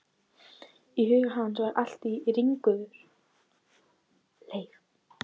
Í huga hans var allt á ringulreið.